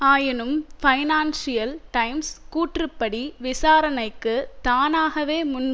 ஆயினும் Financial Times கூற்றுப்படி விசாரணைக்கு தானாகவே முன்